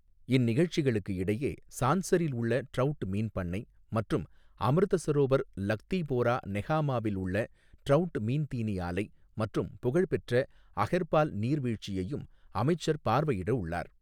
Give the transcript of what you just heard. இந்நிகழ்ச்சிகளுக்கு இடையே சான்சரில் உள்ள ட்ரௌட் மீன் பண்ணை மற்றும் அமிர்த சரோவர், லக்திபோரா நெஹாமாவில் உள்ள ட்ரௌட் மீன் தீனி ஆலை மற்றும் புகழ்பெற்ற அஹெர்பால் நீர்வீழ்ச்சியையும் அமைச்சர் பார்வையிட உள்ளார்.